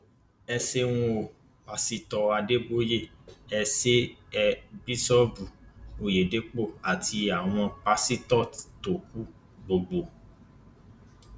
ẹ ṣeun o pásítọ àdèbòye ẹ ṣe é bíṣọọbù ọyédépọ àti àwọn pásítọ tó kù gbogbo